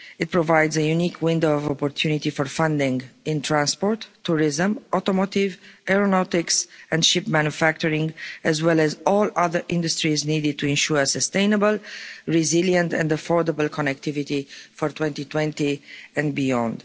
It provides a unique window of opportunity for funding in transport, tourism, automotive, aeronautics, and ship manufacturing, as well as all other industries needed to ensure sustainable, resilient and affordable connectivity for 2020 and beyond.